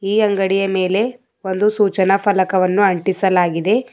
ಈ ಅಂಗಡಿಯ ಮೇಲೆ ಒಂದು ಸೂಚನಾ ಫಲಕವನ್ನು ಅಂಟಿಸಲಾಗಿದೆ.